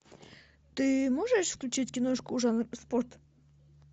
ты можешь включить киношку жанр спорт